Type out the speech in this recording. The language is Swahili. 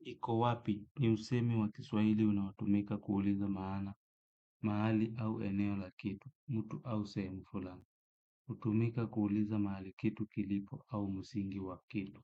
Iko wapi ni usemi wa Kiswahili unaotumika kuuliza maana, mahali au eneo la kitu, mtu au sehemu fulani. Hutumika kuuliza mahali kitu kilipo au msingi wa kitu.